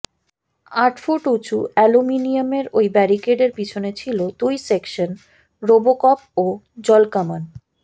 আটফুট উঁচু অ্যালুমিনিয়ামের ওই ব্যারিকেডের পিছনে ছিল দুই সেকশন রোবোকপ ও জলকামান